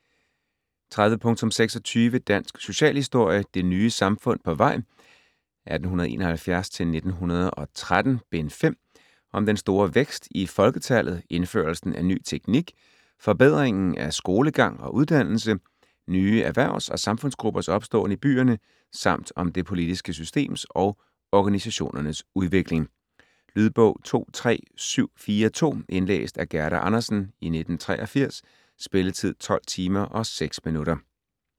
30.26 Dansk socialhistorie: Det nye samfund på vej 1871-1913: Bind 5 Om den store vækst i folketallet, indførelsen af ny teknik, forbedringen af skolegang og uddannelse, nye erhvervs- og samfundsgruppers opståen i byerne samt om det politiske systems og organisationernes udvikling. Lydbog 23742 Indlæst af Gerda Andersen, 1983. Spilletid: 12 timer, 6 minutter.